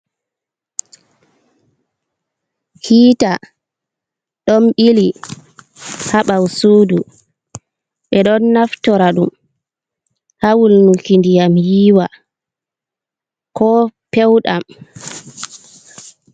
Hiita ɗon ɓili ha ɓawo-sudu. Ɓe ɗon naftora ɗum ha wulnuki ndiyam yiiwa ko pewɗam.